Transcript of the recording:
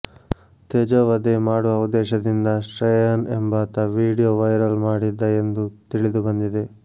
ತೇಜೋವಧೆ ಮಾಡುವ ಉದ್ದೇಶದಿಂದ ಶ್ರೇಯನ್ ಎಂಬಾತ ವೀಡಿಯೋ ವೈರಲ್ ಮಾಡಿದ್ದ ಎಂದು ತಿಳಿದು ಬಂದಿದೆ